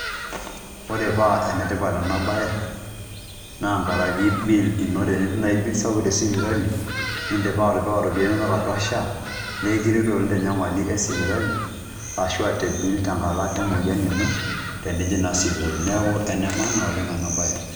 Ore paa enetipat ena bae naa enkaraki bill ino enitum naii bill sapuk tesipitali nidipa atipika iropiyiani inonok atwa Social Health Authority nee ekiretu naleng'' tenyamali esipitali ashu te bill teng'ata emoyian Eno tenining' naa atwa sipitali neeku ene maana oleng' ena baye.